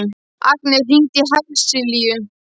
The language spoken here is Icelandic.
Agni, hringdu í Hersilíu.